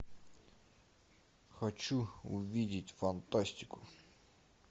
хочу увидеть фантастику